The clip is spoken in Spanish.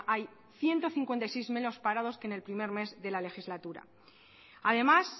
hay ciento cincuenta y seis menos parados que en el primer mes de la legislatura además